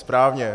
Správně.